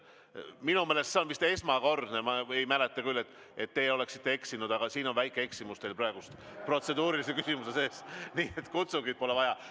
Minu meelest on see vist esmakordne, ma ei mäleta küll, et teie oleksite eksinud, aga siin on väike eksimus teil praegu protseduurilise küsimuse sees, sest kutsungit pole vaja.